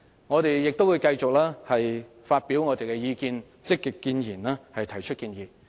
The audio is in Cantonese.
我們亦會繼續發表意見，積極建言，提出建議。